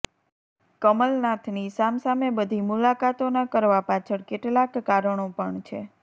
કમલનાથની સામ સામે બધી મુલાકાતો ના કરવા પાછળ કેટલાક કારણો પણ છે